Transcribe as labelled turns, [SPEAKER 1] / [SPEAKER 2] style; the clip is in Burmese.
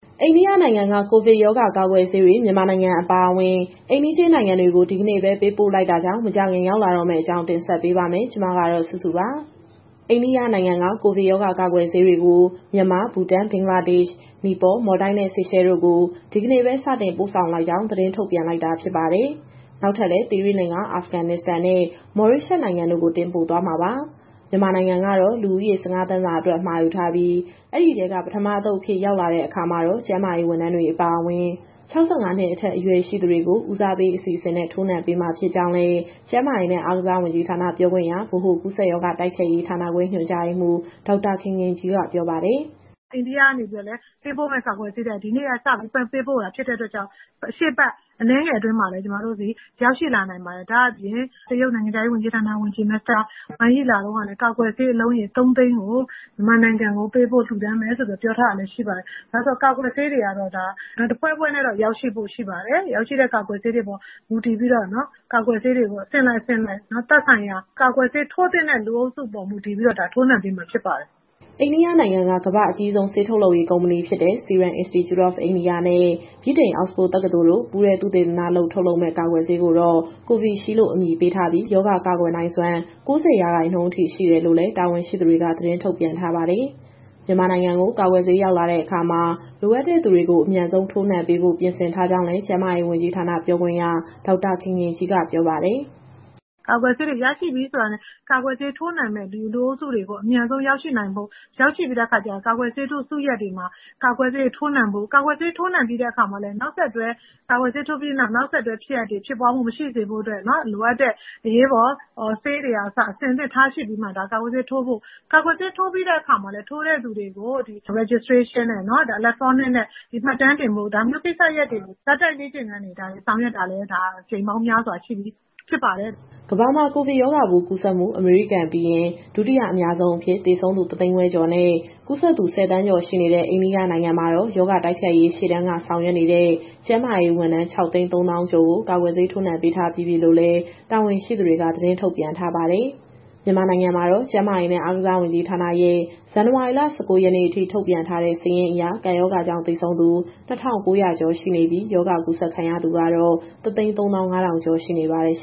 [SPEAKER 1] အိန္ဒိယနိုင်ငံက ကိုဗစ်ရောဂါ ကာကွယ်ဆေးတွေ မြန်မာနိုင်ငံ အပါအဝင် အိမ်နီးချင်း နိုင်ငံတွေကို ဒီကနေ့ပဲ ပေးပို့လိုက်တာကြောင့် မကြာခင် ရောက်လာတော့မယ့်အကြောင်း ဗွီအိုအေမြန်မာပိုင်း သတင်းထောက် မစုစုက တင်ဆက်ပေးမှာပါ။ အိန္ဒိယနိုင်ငံက ကိုဗစ်ရောဂါ ကာကွယ်ဆေးတွေကို မြန်မာ၊ ဘူတန်၊ ဘင်္ဂလားဒေ့ရှ်၊ နီပေါ၊ မော်လ်ဒိုက်နဲ့ ဆေရှဲတို့ကို ဒီကနေ့ပဲ စတင်ပို့ဆောင်လိုက်ကြောင်း သတင်းထုတ်ပြန်လိုက်တာ ဖြစ်ပါတယ်။ နောက်ထပ်လည်း သီရိလင်္ကာ၊ အာဖဂန်နစ္စတန်နဲ့ မော်ရေးရှပ်စ် နိုင်ငံတို့ကို တင်ပို့သွားမှာပါ။ မြန်မာနိုင်ငံကတော့ လူဦးရေ ၁၅ သန်းစာအတွက် မှာယူထားပြီး၊ ဒီအထဲက ပထမအသုတ်အဖြစ် ရောက်လာတဲ့ အခါမှာတော့ ကျန်းမာရေး ဝန်ထမ်းတွေ အပါအဝင်၊ ၆၅ နှစ်အထက် အရွယ်ရှိသူတွေကို ဦးစားပေး အစီအစဉ်နဲ့ ထိုးနှံပေးမှာ ဖြစ်ကြောင်းလည်း ကျန်းမာရေးနဲ့ အားကစားဝန်ကြီးဌာန ပြောခွင့်ရ၊ ဗဟိုကူးစက်ရောဂါ တိုက်ဖျက်ရေးဌာနခွဲ ညွှန်ကြားရေးမှူး ဒေါက်တာခင်ခင်ကြီးက ပြောပါတယ်။
[SPEAKER 2] "အိန္ဒိယကနေ ပေးပို့မယ့်ကာကွယ်ဆေးတွေက ဒီနေ့ကစပြီး ပေးပို့တာဖြစ်တဲ့အတွက်ကြောင့် ရှေ့အပတ်အနည်းငယ်အတွင်းမှာပဲ ကျမတို့ဆီရောက်ရှိလာနိုင်ပါတယ်။ ဒါ့အပြင် တရုတ်နိုင်ငံခြားရေးဝန်ကြီး မစ္စတာဝမ်ယီ လာတုန်းကလည်း ကာကွယ်ဆေးအလုံးရေ ၃၀၀,၀၀၀ ကို မြန်မာနိုင်ငံကိုပေးပို့ လှူဒါန်းမယ်ဆိုပြီးတော့ ပြောထားတာလည်းရှိပါတယ်။ ကာကွယ်ဆေးတွေကတော့ တဖွဲဖွဲနဲ့တော့ ရောက်ရှိဖို့ရှိပါတယ်။ ရောက်ရှိတဲ့ကာကွယ်ဆေးတွေအပေါ် မူတည်ပြီးတော့ ကာကွယ်ဆေးတွေကို အဆင့်လိုက်သက်ဆိုင်ရာ ကာကွယ်ဆေး ထိုးသင့်တဲ့ လူအုပ်စုပေါ် မူတည်ပြီးတော့
[SPEAKER 1] ထိုးနှံပေးမှာဖြစ်ပါတယ်။" အိန္ဒိယနိုင်ငံက ကမ္ဘာ့အကြီးဆုံး ဆေးထုတ်လုပ်ရေး ကုမ္ပဏီဖြစ်တဲ့ Serum Institute of India နဲ့ ဗြိတိန်အောက်စ်ဖို့ တက္ကသိုလ်တို့ ပူးတွဲသုတေသနလုပ် ထုတ်လုပ်မယ့် ကာကွယ်ဆေးကိုတော့ Covishield လို့ အမည်ပေးထားပြီး ရောဂါကာကွယ်နိုင်စွမ်း ၉၀ ရာခိုင်နှုန်းအထိ ရှိတယ်လို့လည်း တာဝန်ရှိသူတွေက သတင်းထုတ်ပြန်ထားပါတယ်။ မြန်မာနိုင်ငံကို ကာကွယ်ဆေး ရောက်လာတဲ့အခါမှာ လိုအပ်တဲ့သူတွေကို အမြန်ဆုံး ထိုးနှံပေးဖို့ ပြင်ဆင်ထားကြောင်းလည်း ကျန်းမာရေးဝန်ကြီးဌာန ပြောခွင့်ရ ဒေါက်တာခင်ခင်ကြီးက ပြောပါတယ်။ "
[SPEAKER 2] ကာကွယ်ဆေးတွေ ရရှိပြီဆိုတာနဲ့ ကာကွယ်ဆေးထိုးနှံမယ့်လူအုပ်စုတွေ အမြန်ဆုံးရောက်ရှိပြီးတဲ့အခါကျရင် ကာကွယ်ဆေးထိုးစုရပ်တွေမှာ ကာကွယ်ဆေးထိုးနှံဖို့။ ကာကွယ်ဆေးထိုးနှံပြီးတဲ့အခါမှာလည်း နောက်ဆက်တွဲဖြစ်ရပ်တွေ ဖြစ်ပွားမှုမရှိစေဖို့အတွက် လိုအပ်တဲ့ အရေးပေါ်ဆေးတွေကအစ အဆင်သင့်ထားရှိပြီးမှ ကာကွယ်ဆေးထိုးဖို့။ ကာကွယ်ဆေးထိုးပြီးတဲ့အခါမှာလည်း ထိုးတဲ့သူတွေကို Electronic Registration နဲ့ မှတ်တမ်းတင်ဖို့။ ဒါမျိုးကိစ္စရပ်တွေကို ဇာတ်တိုက်လေ့ကျင့်ခန်းတွေ ဆောင်ရွက်တာလည်း အကြိမ်ပေါင်းများစွာရှိပြီ ဖြစ်ပါတယ်
[SPEAKER 1] ။" ကမ္ဘာမှာ ကိုဗစ်ရောဂါပိုး ကူးစက်မှု အမေရိကန်ပြီးရင် ဒုတိယအများဆုံးအဖြစ် သေဆုံးသူ ၁၅၀,၀၀၀ ကျော်နဲ့ ကူးစက်သူ ၁၀ သန်းကျော် ရှိနေတဲ့ အိန္ဒိယနိုင်ငံမှာတော့ ရောဂါတိုက်ဖျက်ရေး ရှေ့တန်းက ဆောင်ရွက်နေတဲ့ ကျန်းမာရေးဝန်ထမ်း ၆၃၀,၀၀၀ ကျော်ကို ကာကွယ်ဆေး ထိုးနှံပေးထားပြီးပြီလို့လည်း တာဝန်ရှိသူတွေက သတင်းထုတ်ပြန်ထားပါတယ်။ မြန်မာနိုင်ငံမှာတော့ ကျန်းမာရေးနဲ့ အားကစားဝန်ကြီးဌာနရဲ့ ဇန်နဝါရီလ ၁၉ ရက်နေ့အထိ ထုတ်ပြန်ထားတဲ့စာရင်းအရ ကပ်ရောဂါကြောင့် သေဆုံးသူ ၂,၉၀၀ ကျော်ရှိနေပြီး ရောဂါကူးစက်ခံရသူကတော့ ၁၃၅,၀၀၀ ကျော် ရှိနေပါတယ်။